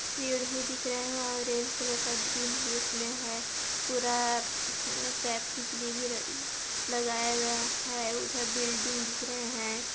सीढ़ी दिख रहे है ऑरेंज कलर का ग्रीन भी उसमे है पूरा सेफ्टी के लिए भी र लगाया गया है उधर बिल्डिंग दिख रहे है।